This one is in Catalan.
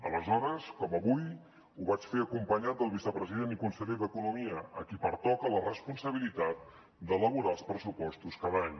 aleshores com avui ho vaig fer acompanyat del vicepresident i conseller d’economia a qui pertoca la responsabilitat d’elaborar els pressupostos cada any